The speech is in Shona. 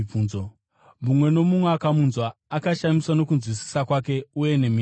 Mumwe nomumwe akamunzwa akashamiswa nokunzwisisa kwake uye nemhinduro dzake.